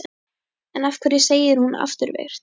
En af hverju segir hún afturvirkt?